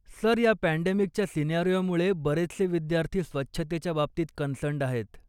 Sir, या पँडेमिकच्या सिनारियोमुळे, बरेचसे विद्यार्थी स्वच्छतेच्या बाबतीत कन्सर्न्ड् आहेत.